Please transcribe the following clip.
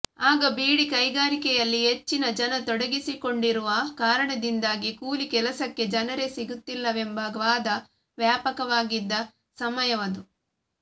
ಆಗ ಬೀಡಿ ಕೈಗಾರಿಕೆಯಲ್ಲಿ ಹೆಚ್ಚಿನ ಜನ ತೊಡಗಿಸಿಕೊಂಡಿರುವ ಕಾರಣದಿಂದಾಗಿ ಕೂಲಿ ಕೆಲಸಕ್ಕೆ ಜನರೇ ಸಿಗುತ್ತಿಲ್ಲವೆಂಬ ವಾದ ವ್ಯಾಪಾಕವಾಗಿದ್ದ ಸಮಯವದು